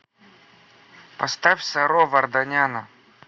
поставь саро варданяна